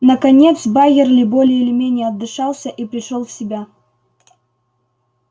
наконец байерли более или менее отдышался и пришёл в себя